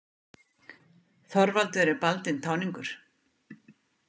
Þorvaldur er baldinn táningur.